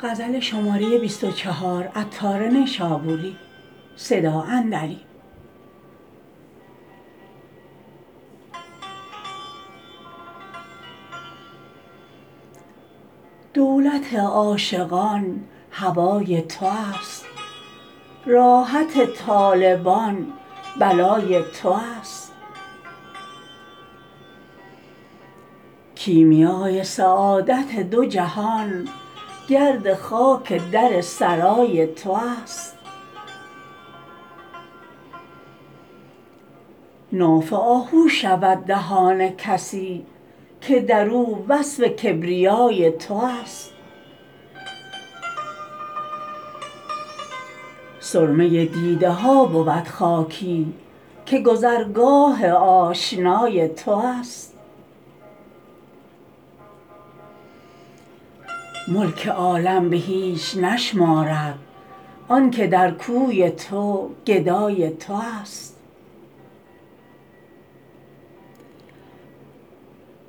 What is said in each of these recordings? دولت عاشقان هوای تو است راحت طالبان بلای تو است کیمیای سعادت دو جهان گرد خاک در سرای تو است ناف آهو شود دهان کسی که درو وصف کبریای تو است سرمه دیده ها بود خاکی که گذرگاه آشنای تو است ملک عالم به هیچ نشمارد آنکه در کوی تو گدای تو است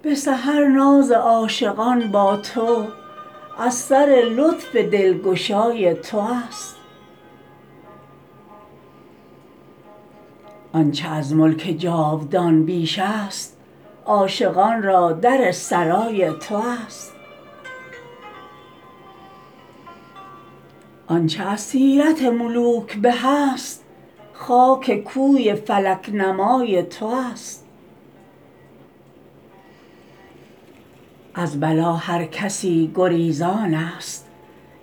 به سحر ناز عاشقان با تو از سر لطف دلگشای تو است آنچه از ملک جاودان بیش است عاشقان را در سرای تو است آنچه از سیرت ملوک به است خاک کوی فلک نمای تو است از بلا هر کسی گریزان است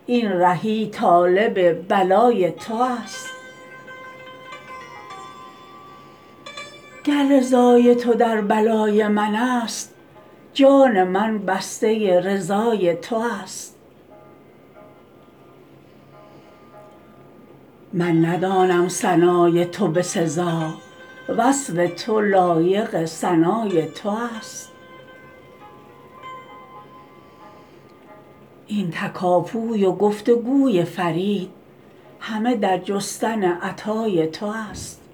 این رهی طالب بلای تو است گر رضای تو در بلای من است جان من بسته رضای تو است من ندانم ثنای تو به سزا وصف تو لایق ثنای تو است این تکاپوی و گفت و گوی فرید همه در جستن عطای تو است